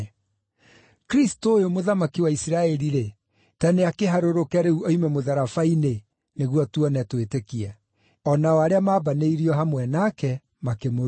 Kristũ ũyũ, Mũthamaki wa Isiraeli-rĩ, ta nĩakĩharũrũke rĩu oime mũtharaba-inĩ, nĩguo tuone twĩtĩkie.” O nao arĩa maambanĩirio hamwe nake, makĩmũruma.